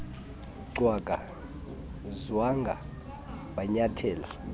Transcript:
cwaka nzwanga wanyathela